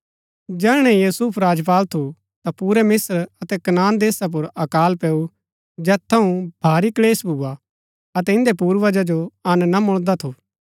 जैहणै यूसुफ राज्यपाल थू ता पूरै मिस्त्र अतै कनान देशा पुर अकाल पैऊ जैत थऊँ भारी क्‍लेश भूआ अतै इन्दै पूर्वजा जो अंन ना मुळदा थू